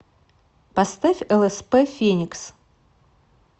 поставь лсп феникс